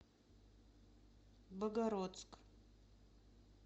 богородск